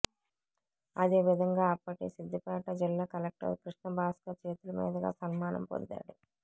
అదే విధంగా అప్పటి సిద్దిపేట జిల్లా కలెక్టర్ కృష్ణభాస్కర్ చేతుల మీదుగా సన్మానం పొందాడు